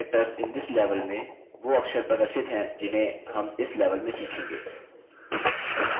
इस level में new अक्षर वो अक्षर प्रदर्शित हैं जिन्हें हम इस level में सीखेंगे